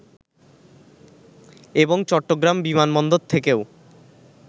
এবং চট্টগ্রাম বিমানবন্দর থেকেও